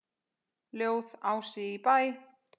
Ljóð: Ási í Bæ